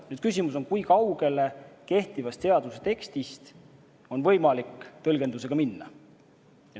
Nüüd küsimus on selles, kui kaugele kehtivast seaduse tekstist on võimalik tõlgendusega minna.